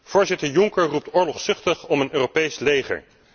Voorzitter Juncker roept oorlogszuchtig om een Europees leger.